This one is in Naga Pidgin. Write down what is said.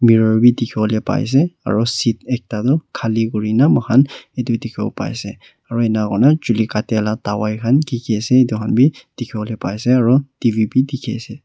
Mirror bhi dekhevole pai ase aro seat bhi ekta tuh khali kurena mokhan etu dekhevo pai ase aro enika hona chuli katya la dawaii khan kiki ase etu khan bhi dekhevole pai ase aro T_V bhi dekhe ase.